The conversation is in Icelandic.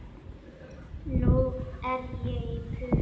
Nú er ég í prufum.